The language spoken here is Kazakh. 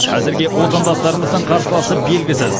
әзірге отандастарымыздың қарсыласы белгісіз